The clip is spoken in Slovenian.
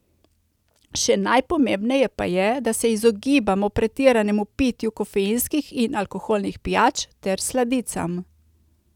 Še najpomembneje pa je, da se izogibamo pretiranemu pitju kofeinskih in alkoholnih pijač ter sladicam.